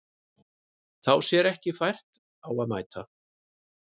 Sá sér ekki fært á að mæta